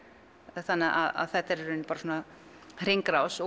þannig að þetta er bara svona hringrás